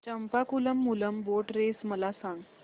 Champakulam Moolam boat race मला सांग